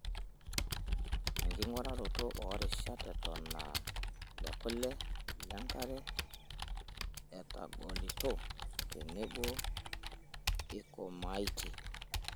Enking'uraroto oorishat eton aa lekule, lenkare, etagolito tenebo eikomaitie.